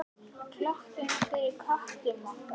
Ef breytingatillaga nær ekki fram að ganga stendur aðaltillaga.